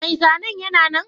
Mai zanen yana nan?